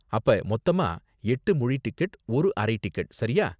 அப்ப மொத்தமா எட்டு முழு டிக்கெட், ஒரு அரை டிக்கெட், சரியா